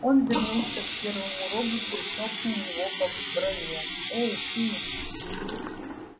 он вернулся к первому роботу и хлопнул его по броне эй ты